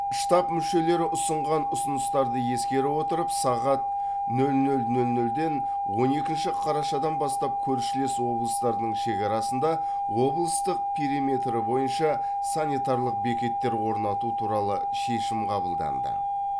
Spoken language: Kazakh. штаб мүшелері ұсынған ұсыныстарды ескере отырып сағат нөл нөл нөл нөлден он екінші қарашадан бастап көршілес облыстардың шекарасында облыстың периметрі бойынша санитарлық бекеттер орнату туралы шешім қабылданды